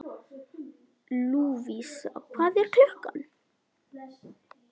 Lúvísa, hvað er klukkan?